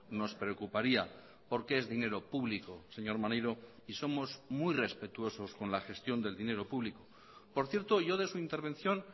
nos preocuparía porque es dinero público señor maneiro y somos muy respetuosos con la gestión del dinero público por cierto yo de su intervención